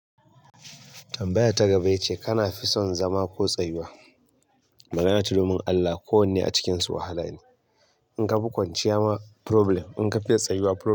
Tambayar ta gaba yace kana fi son zama ko tsayuwa? Magana ta domin Allah ko wanne a cikinsu wahala ne. In ka fi kwanciya ma problem, in ka fiya tsayuwa problem.